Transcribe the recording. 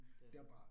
Det rigtigt